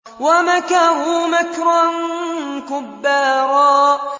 وَمَكَرُوا مَكْرًا كُبَّارًا